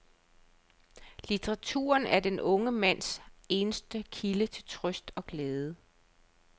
Litteraturen er den unge mands eneste kilde til trøst og glæde.